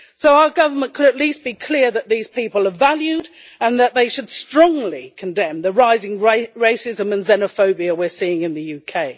Our government could at least be clear that these people are valued and it should strongly condemn the rising racism and xenophobia we are seeing in the UK.